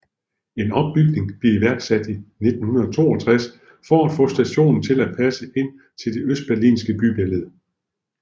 En ombygning blev iværksat i 1962 for at få stationen til at passe ind i det østberlinske bybillede